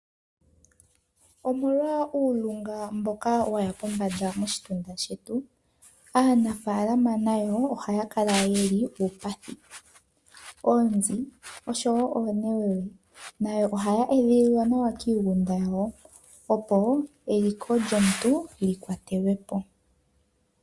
Omolwa uulingilingi mboka waya pombanda moshitunda shetu, aanafaalama nayo ohaya kala yeli uupathi. Oonzi, osho wo oonewewe, nayo ohaya edhililwa nawa miigunda yawo, opo eliko lyomuntu likwatelwe po.